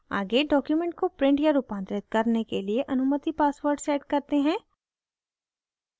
आगे document को print या रूपांतरित करने के लिए अनुमति password set करते हैं